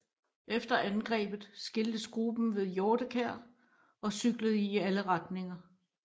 Efter angrebet skiltes gruppen ved Hjortekær og cyklede i alle retninger